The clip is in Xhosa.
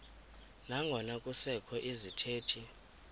nangona kusekho izithethi